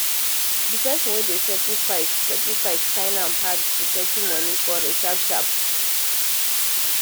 the person wen dey settle fight settle fight find am hard to settle money quarrel sharp sharp